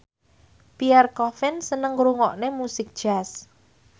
Pierre Coffin seneng ngrungokne musik jazz